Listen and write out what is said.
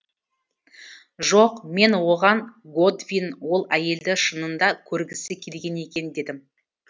жоқ мен оған годвин ол әйелді шынында көргісі келген екен дедім